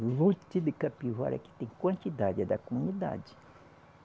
Monte de Capivara que tem quantidade, é da comunidade.